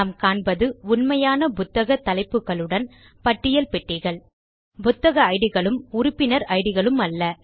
நாம் காண்பது உண்மையான புத்தக் தலைப்புகளுடன் பட்டியல் பெட்டிகள் புத்தக ஐடிகளும் உறுப்பினர் ஐடிகளும் அல்ல